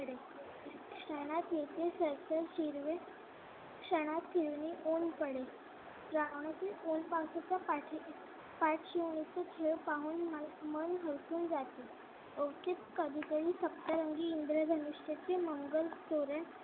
क्षणात फिरुनी ऊन पडे श्रावणातील ऊन पावसाच्या पाठी खेळ पाहून मन हरपून जाते. कवितेने सप्तरंगी इंद्रधनुष्याचे मंगल तोरण